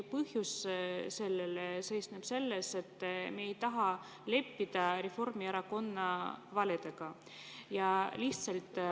Põhjus seisneb ainuüksi selles, et me ei taha leppida Reformierakonna valedega.